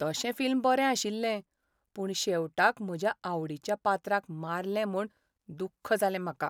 तशें फिल्म बरें आशिल्लें, पूण शेवटाक म्हज्या आवडीच्या पात्राक मारलें म्हूण दुख्ख जालें म्हाका.